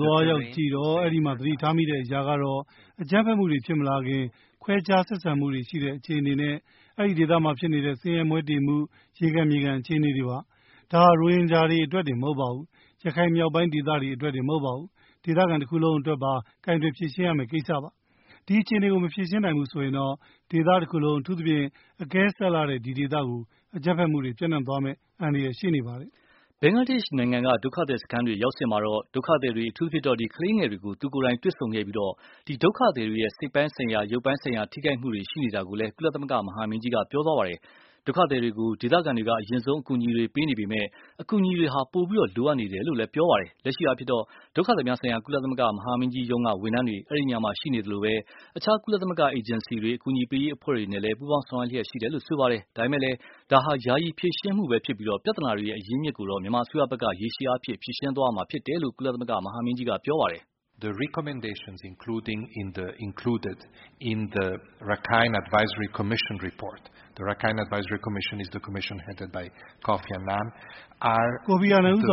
သွားရောက်ကြည့်တော့ အဲဒီမှာ သတိထားမိတဲ့အရာကတော့ အကြမ်းဖက်မှုတွေဖြစ်မလာခင် ခွဲခြားဆက်ဆံမှုတွေရှိနေတဲ့အခြေအနေနဲ့ အဲဒီဒေသမှာဖြစ်နေတဲ့ဆင်းရဲမွဲတေမှု ရေခံမြေခံ အခြေအနေတွေပါ။ ဒါဟာ ရိုဟင်ဂျာတွေအတွက် တင်မဟုတ်ဘူး ရခိုင်မြောက်ပိုင်းဒေသအတွက်တင်မဟုတ်ဘူး ဒေသခံတခုလုံး အတွက်ပါ ကိုင်တွယ်ဖြေရှင်းရမယ့်ကိစ္စပါ။ ဒီအခြေအနေကို မဖြေရှင်းနိုင်ဘူးဆိုရင်တော့ ဒေသတခုလုံး အထူးသဖြင့် အကဲစပ်လှတဲ့ ဒီဒေသကို အကြမ်းဖက်မှုတွေ ပျံ့နှံ့သွားမယ့်အန္တရာယ်ရှိနေပါတယ်။ ” ဘင်္ဂလားဒေ့ရ်ှနိုင်ငံက ဒုက္ခသည်စခန်းတွေရောက်စဉ်မှာတော့ ဒုက္ခသည်တွေ အထူးသဖြင့် ကလေးငယ်တွေကို သူကိုယ်တိုင်တွေ့ဆုံခဲ့ပြီး ဒီဒုက္ခသည်တွေရဲ့ စိတ်ပိုင်း ဆိုင်ရာ ရုပ်ပိုင်းဆိုင်ရာ ထိခိုက်မှုတွေရှိနေတာကိုလည်း ကုလသမဂ္ဂမဟာမင်းကြီးက ပြောခဲ့ပါတယ်။ ဒုက္ခသည်တွေကို ဒေသခံတွေက အရင်ဆုံး အကူအညီတွေပေးနေပေ မယ့်၊ အကူအညီတွေ ပိုပြီး လိုအပ်နေတယ်လို့ပြောပါတယ်။ လက်ရှိအားဖြင့်တော့ ဒုက္ခသည်များဆိုင်ရာ ကုလသမဂ္ဂမဟာမင်းကြီးရုံးက ဝန်ထမ်းတွေ အဲဒီနေရာမှာရှိနေသလို၊ အခြား ကုလသမဂ္ဂအေဂျင်စီတွေ အကူအညီပေးရေး အဖွဲ့တွေနဲ့ပူးပေါင်းဆောင်ရွက်နေ တယ်လို့ဆိုပါတယ်။ ဒါပေမယ့် ဒါဟာ ယာယီဖြေရှင်းမှု သာဖြစ်ပြီး၊ ပြဿနာတွေအရင်းအမြစ်ကိုတော့ မြန်မာအစိုးရဖက်က ရေရှည်အားဖြင့် ဖြေရှင်းသွားရမှာဖြစ်တယ်လို့လည်း ကုလသမဂ္ဂမဟာမင်းကြီးက ပြောခဲ့ပါတယ်။ “ကိုဖီအာနန်ဦးဆောင